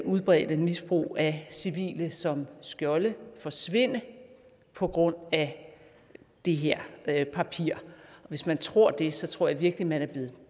udbredte misbrug af civile som skjolde forsvinde på grund af det her papir hvis man tror det så tror jeg virkelig at man er blevet